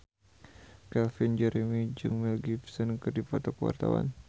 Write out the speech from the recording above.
Calvin Jeremy jeung Mel Gibson keur dipoto ku wartawan